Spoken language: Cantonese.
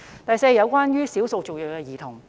第四類是少數族裔兒童。